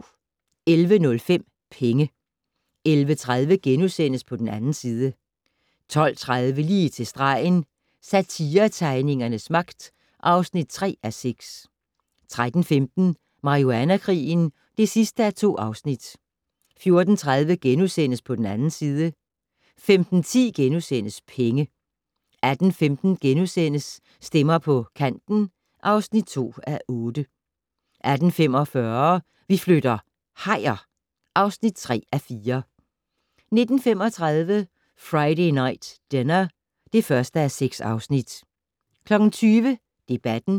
11:05: Penge 11:30: På den 2. side * 12:30: Lige til stregen - Satiretegningernes magt (3:6) 13:15: Marihuana-krigen (2:2) 14:30: På den 2. side * 15:10: Penge * 18:15: Stemmer på Kanten (2:8)* 18:45: Vi flytter - hajer (3:4) 19:35: Friday Night Dinner (1:6) 20:00: Debatten